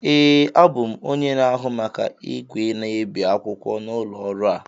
ee, abụ m onye na-ahụ maka igwe na-ebi akwụkwọ nke ụlọ ọrụ a